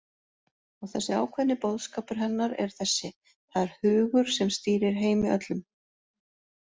Og þessi ákveðni boðskapur hennar er þessi: Það er hugur, sem stýrir heimi öllum.